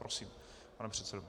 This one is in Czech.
Prosím, pane předsedo.